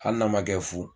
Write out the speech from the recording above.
Hali n'a ma kɛ fu